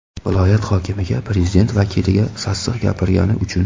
Viloyat hokimiga, prezident vakiliga sassiq gapirgani uchun.